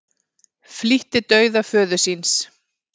Flýtti dauða föður síns